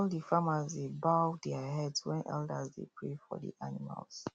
all the farmers dey bow their heads when elders dey pray for the animals